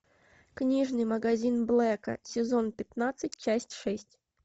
книжный магазин блэка сезон пятнадцать часть шесть